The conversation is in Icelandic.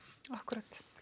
akkúrat